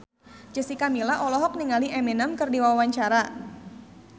Jessica Milla olohok ningali Eminem keur diwawancara